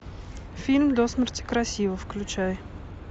фильм до смерти красива включай